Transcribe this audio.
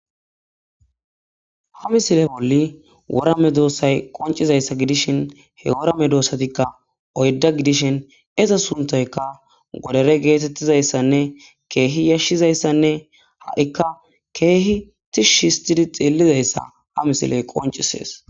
ha misile bolli worame doossay qoncizayssa gidishin he worame doossatikka oydda gidishin iza suntayka godare geetettizayssanne keehi yashshizayssanne ha7ikka keehi tishshhistidi xiellizayssa ha misiley qoncisees